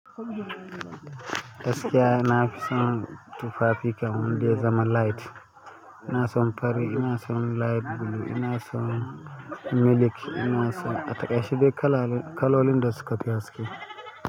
Gaskiya na fi son tufafi kam wanda ya zama light. Ina son fari, ina son light blue, ina son milik, ina son. A takaice dai kala-kalolin da suka fi haske.